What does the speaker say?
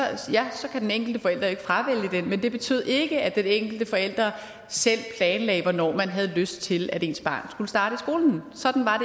kan den enkelte forælder ikke fravælge den men det betød ikke at den enkelte forælder selv planlagde hvornår man havde lyst til at ens barn skulle starte i skolen sådan var